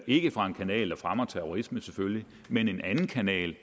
ikke fra en kanal der fremmer terrorisme selvfølgelig men en anden kanal